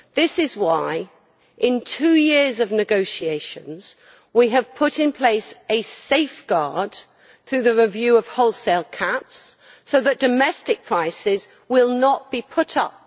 This is why, in the two years of negotiations, we have put in place a safeguard through the review of wholesale caps so that domestic prices will not be put up.